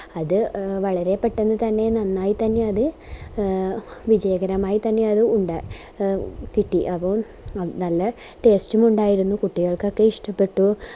അത് വളരെ പെട്ടന്ന് തന്നെ നന്നായി തന്നെ അത് എ വിജയകരമായിത്തന്നെ ഉണ്ടാ കിട്ടി അതും നല്ല taste ഉം ഉണ്ടായിരുന്നു കുട്ടികൾക്കൊക്കെ ഇഷ്ട്ടപെട്ടു